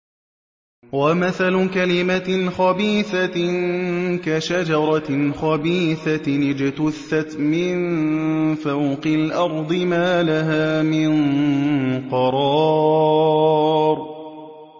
وَمَثَلُ كَلِمَةٍ خَبِيثَةٍ كَشَجَرَةٍ خَبِيثَةٍ اجْتُثَّتْ مِن فَوْقِ الْأَرْضِ مَا لَهَا مِن قَرَارٍ